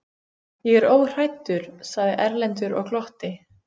Ég er óhræddur, sagði Erlendur og glotti.